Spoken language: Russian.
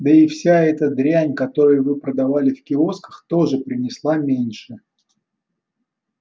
да и вся эта дрянь которой вы продавали в киосках тоже принесла меньше